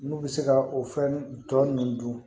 N'u bɛ se ka o fɛn tɔ ninnu dun